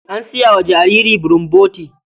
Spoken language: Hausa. An saya wa jariri bulomboti.